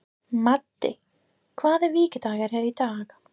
Maddý, hvaða vikudagur er í dag?